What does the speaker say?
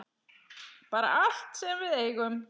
Bara allt sem við eigum.